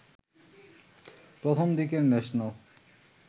প্রথমদিকের national